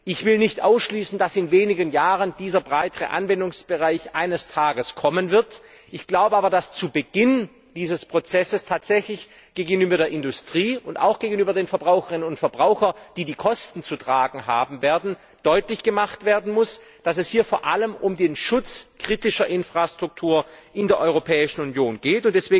Ich will nicht ausschließen, dass in wenigen Jahren dieser breitere Anwendungsbereich kommen wird, ich glaube aber, dass zu Beginn dieses Prozesses tatsächlich gegenüber der Industrie und auch gegenüber den Verbraucherinnen und Verbrauchern, die die Kosten zu tragen haben werden, deutlich gemacht werden muss, dass es hier vor allem um den Schutz kritischer Infrastruktur in der Europäischen Union geht.